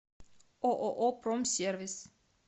ооо промсервис